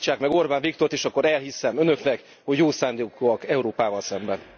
Állítsák meg Orbán Viktort és akkor elhiszem Önöknek, hogy jó szándékúak Európával szemben.